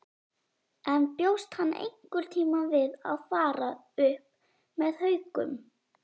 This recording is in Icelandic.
En bjóst hann einhverntímann við að fara upp með Haukum?